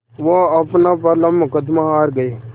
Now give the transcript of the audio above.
वो अपना पहला मुक़दमा हार गए